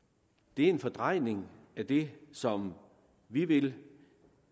det er en fordrejning af det som vi vil